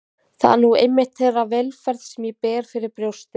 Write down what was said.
Það er nú einmitt þeirra velferð sem ég ber fyrir brjósti.